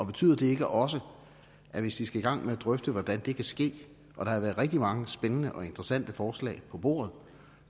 betyder det ikke også at hvis vi skal i gang med at drøfte hvordan det kan ske og der har været rigtig mange spændende og interessante forslag på bordet